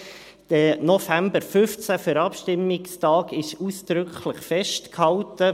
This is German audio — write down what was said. Der November 2015 ist als Abstimmungstag ausdrücklich festgehalten.